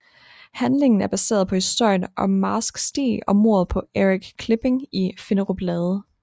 Handlingen er baseret på historien om Marsk Stig og mordet på Erik Klipping i Finderup Lade